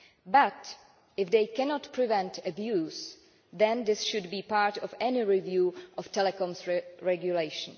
But, if they cannot prevent abuse, this should be part of any review of telecoms regulation.